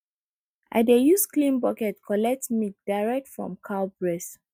i dey use clean bucket collect milk direct from cow breast